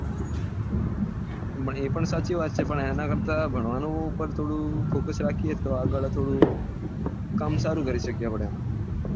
એ પણ સાચી વાત છે એના કરતા ભણવા પેર થોડો focus રાખીએ તો આગળ થોડું કામ સારું કરી શકીએ એમ